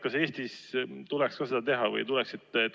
Kas Eestis tuleks ka seda teha või ei tuleks?